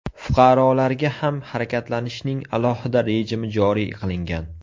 Fuqarolarga ham harakatlanishning alohida rejimi joriy qilingan.